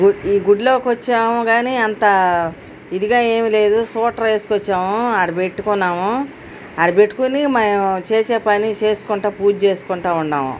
ఈ గుడి లోకి వచ్చాము గాని అంత ఇదిగా ఏమీ లేదు. స్కూటర్ ఏస్కోచ్చాము. ఆడ పెట్టుకున్నాము. ఆడ పెట్టుకొని మేము చేసే పని చేస్కుంటా పూజ చేస్కుంటా ఉండాము.